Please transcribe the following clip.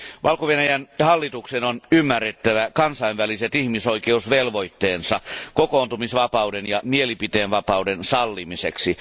Valko Venäjän hallituksen on ymmärrettävä kansainväliset ihmisoikeusvelvoitteensa kokoontumisvapauden ja mielipiteenvapauden sallimiseksi.